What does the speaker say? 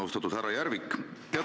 Austatud härra Järvik!